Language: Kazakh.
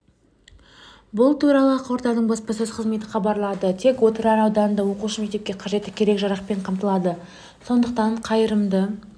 бұл туралы ақорданың баспасөз қызметі хабарлады тек отырар ауданында оқушы мектепке қажетті керек-жарақпен қамтылады сондықтан қайырымды